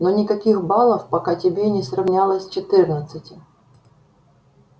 но никаких балов пока тебе не сравнялось четырнадцати